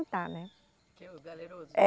né quem Os galerosos. é